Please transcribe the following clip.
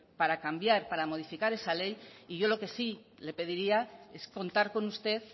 para cambiar para modificar esa ley y yo lo que sí le pediría es contar con usted